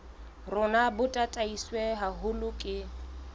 rona bo tataiswe haholo ke